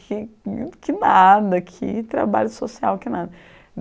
Que que nada, que trabalho social, que nada.